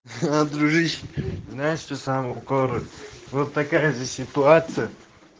ха дружище знаешь что сам город вот такая же ситуация